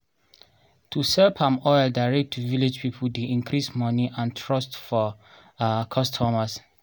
to sell palm oil direct to village people dey increase money and trust for um customers